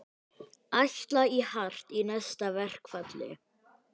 Ætla í hart í næsta verkfalli